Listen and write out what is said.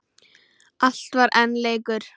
Allt var enn leikur.